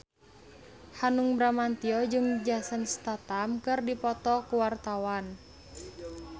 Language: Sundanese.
Hanung Bramantyo jeung Jason Statham keur dipoto ku wartawan